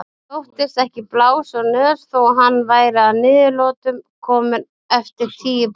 Þóttist ekki blása úr nös þó að hann væri að niðurlotum kominn eftir tíu bunur.